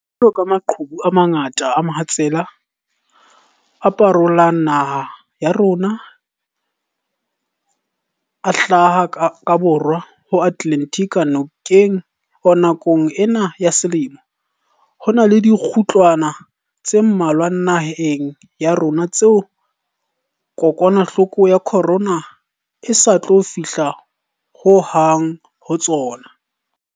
Jwaloka maqhubu a mangata a mohatsela a parolang naha ya rona a hlaha ka Borwa ho Atlantic nakong ena ya selemo, ho na le dikgutlwana tse mmalwa naheng ya rona tseo kokwanahloko ya corona e sa tlo fihla ho hang ho tsona.